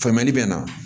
Famuyali bɛ na